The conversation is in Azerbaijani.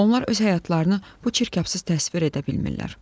Onlar öz həyatlarını bu çirkabsız təsvir edə bilmirlər.